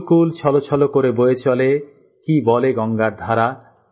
কুলকুল ছলছল করে বয়ে চলে কি বলে গঙ্গার ধারা